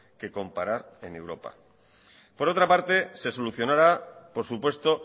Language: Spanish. que comparar en europa por otra parte se solucionará por supuesto